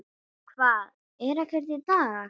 Hvað, er ekkert í dag?